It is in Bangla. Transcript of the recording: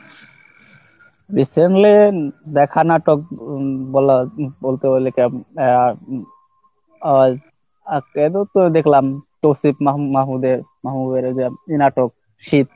recently দেখা নাটক বলা~বলতে হলে আহ একটা দুটো দেখলাম আহ তৌসিফ মাহমুদের মাহমুদ এই নাটক শিব।